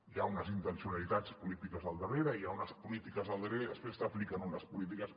hi ha unes intencionalitats polítiques al darrere hi ha unes polítiques al darrere i després s’apliquen unes polítiques